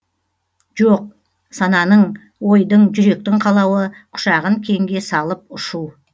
жоқ сананың ойдың жүректің қалауы құшағын кеңге салып ұшу